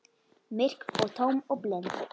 Myrk og tóm og blind.